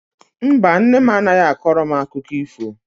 Mba, nne m anaghị akọrọ m akụkọ ifo.